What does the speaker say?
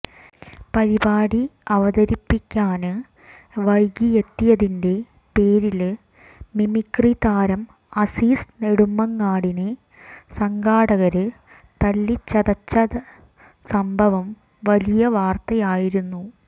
പരിപാടി അവതരിപ്പിക്കാന് വൈകിയെത്തിയതിന്റെ പേരില് മിമിക്രി താരം അസീസ് നെടുമങ്ങാടിനെ സംഘാടകര് തല്ലിച്ചതച്ചതച്ച സംഭവം വലിയ വാര്ത്തയായിരുന്നു